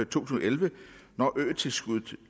tusind og elleve når øtilskuddet